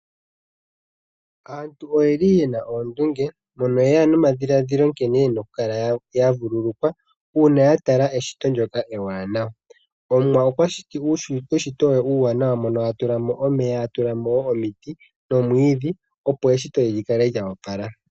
Aantu oyeli yena oondunge mono yeya nomadhiladhilo nkene yena okukala vululukwa uuna ya tala eshito ndoka ewanawa. Omuwa okwashiti eshito ewanawa mono atulamo omeya omiti nomwiidhi opo eshito likale lya opala.